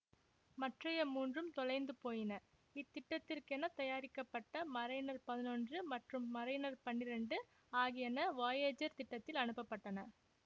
மற்றைய மூன்றும் தொலைந்து போயின இத்திட்டத்திற்கெனத் தயாரிக்கப்பட்ட மரைனர் பதினொன்று மற்றும் மரைனர் பன்னிரெண்டு ஆகியன வொயேஜர் திட்டத்தில் அனுப்ப பட்டன